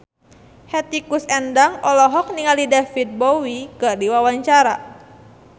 Hetty Koes Endang olohok ningali David Bowie keur diwawancara